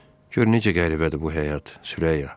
Gör necə qəribədir bu həyat, Sürəyya.